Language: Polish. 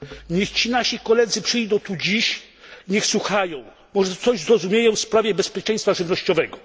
Niech ci nasi koledzy przyjdą tu dziś, niech słuchają. Może coś zrozumieją w sprawie bezpieczeństwa żywnościowego.